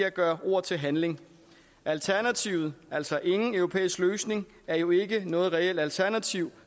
at gøre ord til handling alternativet altså ingen europæisk løsning er jo ikke noget reelt alternativ